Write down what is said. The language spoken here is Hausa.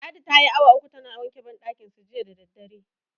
Ladi tayi awa uku tana wanke banɗakinsu jiya da daddare.